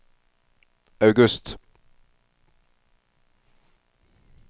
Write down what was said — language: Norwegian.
august